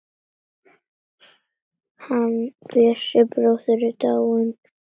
Hann Bjössi bróðir er dáinn.